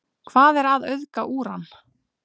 hvað er að auðga úran